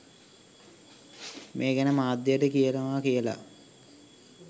මේ ගැන මාධ්‍යයට කියනවා කියලා.